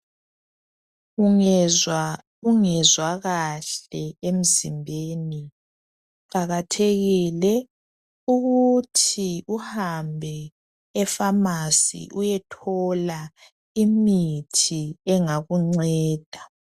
Ungezwa ungezwa kahle emzimbeni. Kuqakathekile ukuthi uhambe epharmacy. Uyethola imithi, engakunceda.